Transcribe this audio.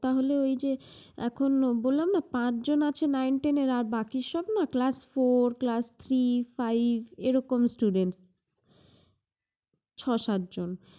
তাহলে ঐ যে এখন বললাম না, পাঁচজন আছে nince, ten এর আর বাকি সব না class four, class three, five এরকম student ছয়-সাত জন।